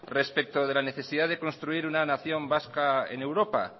respecto de la necesidad de construir una nación vasca en europa